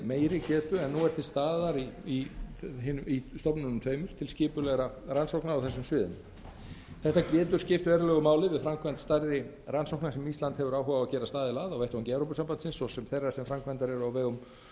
meiri getu en nú er til staðar í stofnununum tveimur til skipulegra rannsókna á þessum sviðum þetta getur skipt verulegu máli við framkvæmd stærri rannsókna sem ísland hefur áhuga á að gerast aðili að á vettvangi evrópusambandsins svo sem þeirra sem framkvæmdar eru á vegum